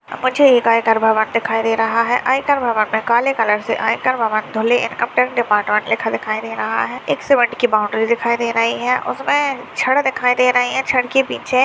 मुझे एक आयकर भवन दिखाई दे रहा है आयकर भवन मे काले कलर से आयकर भवन धुले इनकम टैक्स डिपार्टमेन्ट लिखा दिखाई दे रहा है एक सीमेंट की बाउंड्री दिखाई दे रही है उसमे छड़ दिखाई दे रही है छड़ के पीछे--